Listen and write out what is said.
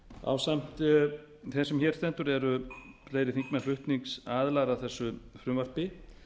ásamt þeim sem hér stendur eru fleiri þingmenn flutningsaðilar að þessu frumvarpi